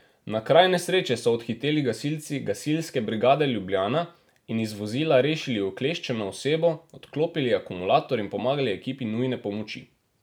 Na kraj nesreče so odhiteli gasilci Gasilske brigade Ljubljana in iz vozila rešili ukleščeno osebo, odklopili akumulator in pomagali ekipi nujne pomoči.